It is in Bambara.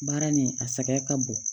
Baara nin a sɛgɛn ka bon